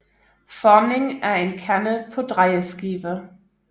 Formning af en kande på drejeskive